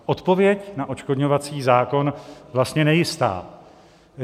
Odpověď na odškodňovací zákon vlastně nejistá.